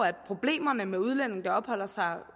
at problemerne med udlændinge der opholder sig